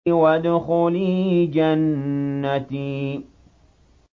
وَادْخُلِي جَنَّتِي